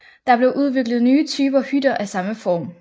Der blev udviklet nye typer hytter af samme form